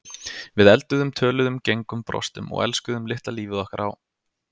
Við elduðum, töluðum, gengum, brostum og elskuðum litla lífið okkar á